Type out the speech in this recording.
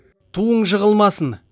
туың жығылмасын